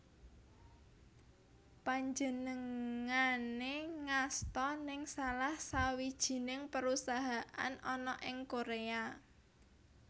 Panjenengané ngasta nèng salah sawijining perusahaan ana ing Korea